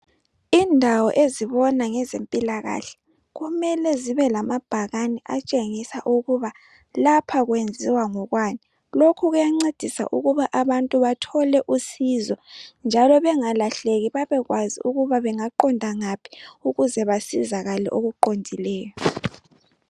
Indawo ezibona ngezempilakahle kumele zibe lamabhakane atshengisa ukuba lapha kwenziwa ngokwani lokho kuyancedisa ukuba abantu bathole usizo njalo bengalahleki babekwazi ukuba bengaqonda ngaphi ukuze basizakale okuqondileyo.